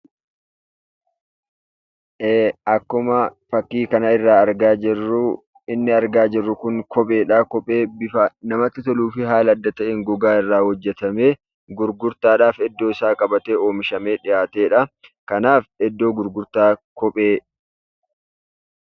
Ee akkuma fakkii kanarraa argaa jirru, inni argaa jirru kun kopheedha. Kopheen kun bifa namatti toluu fi haala adda ta'een gogaa irraa hojjatamee gurgurtaadhaaf iddoosaa qabatee, oomishamee dhiyaatedha. Kanaaf iddoo gurgurtaa kopheedha.